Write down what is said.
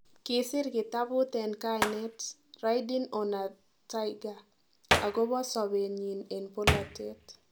Kisir kitaput en kainet 'Ridin on a Tiger' agopo sobet nyin en polatet